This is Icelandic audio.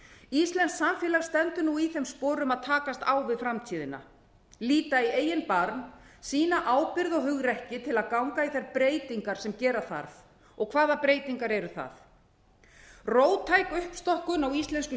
íslenskt samfélag stendur nú í þeim sporum að takast á við framtíðina líta í eigin barm sýna ábyrgð og hugrekki til að ganga í þær breytingar sem gera þarf og hvaða breytingar eru það róttæk uppstokkun á íslensku